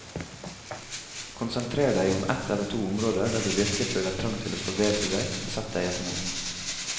Konsentrer deg om ett eller to områder der du virkelig føler trang til å forbedre deg, og sett deg et mål.